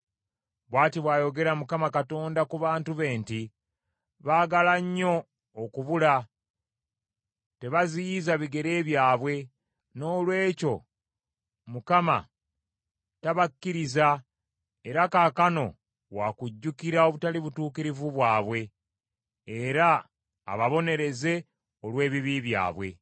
Bw’ati bw’ayogera Mukama Katonda ku bantu be nti, “Baagala nnyo okubula, tebaziyiza bigere byabwe. Noolwekyo Mukama tabakkiriza era kaakano wakujjukira obutali butuukirivu bwabwe era ababonereze olw’ebibi byabwe.”